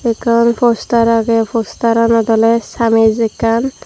ekkan poster age poster anot ole samej ekkan.